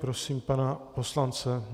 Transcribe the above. Prosím pana poslance.